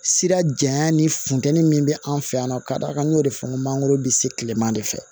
Sira janya ni funteni min bɛ an fɛ yan ka d'a kan n y'o de fɔ n ko mangoro bɛ se kilema de fɛ